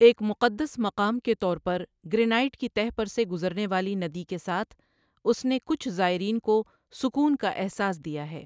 ایک مقدس مقام کے طور پر، گرینائٹ کی تہہ پر سے گزرنے والی ندی کے ساتھ، اس نے کچھ زائرین کو سکون کا احساس دیا ہے۔